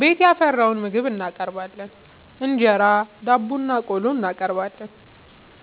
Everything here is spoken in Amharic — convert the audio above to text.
ቤት ያፈራውን ምግብ እናቀርባለን እንጀራ፣ ዳቦናቆሎ እናቀርባለን።